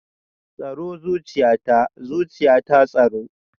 Tsaro zuciyata, zuciyata tsaro